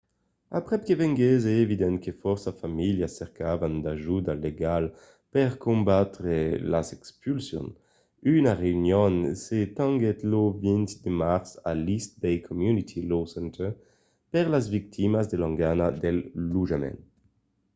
aprèp que venguèsse evident que fòrça familhas cercavan d’ajuda legala per combatre las expulsions una reünion se tenguèt lo 20 de març a l’east bay community law center per las victimas de l'engana del lotjament